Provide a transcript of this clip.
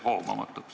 See jääb hoomamatuks.